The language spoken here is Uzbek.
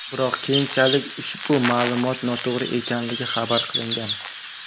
Biroq keyinchalik ushbu ma’lumot noto‘g‘ri ekanligi xabar qilingan.